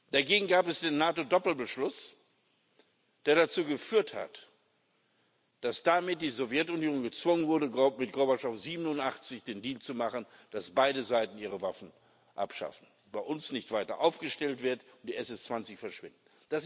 Dagegen gab es den NATO Doppelbeschluss, der dazu geführt hat, dass damit die Sowjetunion gezwungen wurde, mit Gorbatschow 1987 den Deal zu machen, dass beide Seiten ihre Waffen abschaffen, bei uns nicht weiter aufgestellt wird und die SS 20 verschwinden.